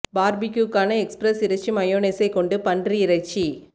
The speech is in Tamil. பார்பெக்யூ க்கான எக்ஸ்பிரஸ் இறைச்சி மயோனைசே கொண்டு பன்றி இறைச்சி